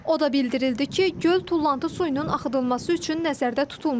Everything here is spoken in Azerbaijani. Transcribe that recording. O da bildirildi ki, göl tullantı suyunun axıdılması üçün nəzərdə tutulmayıb.